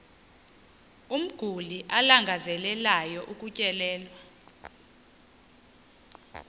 umguli alangazelelayo ukutyelelwa